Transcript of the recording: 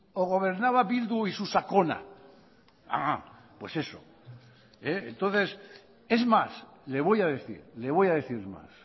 o gobernaba bildu y su sakona pues eso entonces es más le voy a decir le voy a decir más